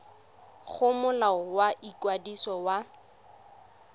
go molao wa ikwadiso wa